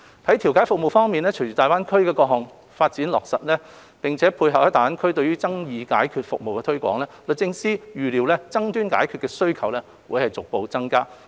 在調解服務方面，隨着大灣區的各項發展計劃逐步落實，並配合在大灣區對於爭議解決服務的推廣，律政司預料爭議解決的需求將會逐步增加。